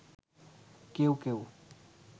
কেউ কেউ